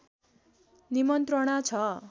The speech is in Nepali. निमन्त्रणा छ